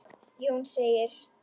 Jón segir: